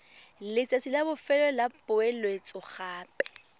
letsatsi la bofelo la poeletsogape